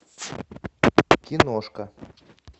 киношка